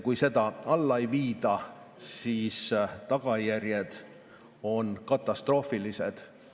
Kui seda alla ei viida, siis tagajärjed on katastroofilised.